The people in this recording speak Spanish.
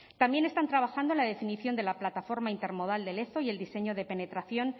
también están trabajando en la definición de la plataforma intermodal de lezo y el diseño de penetración